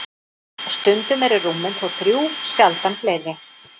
Stundum eru rúmin þó þrjú, sjaldan fleiri.